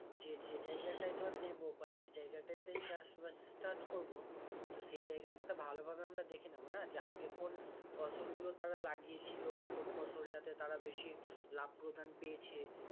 যে যেই জায়গাটা টা ধর নেবো বা যে জায়গাটাতেই চাষবাস start করবো তো সেই জায়গাটা তো ভালোভাবে দেখে নেবোনা আগে কোন ফসলগুলো তারা লাগিয়ে ছিল কোন ফসলটাতে তারা বেশি লাভ প্রদান পেয়েছে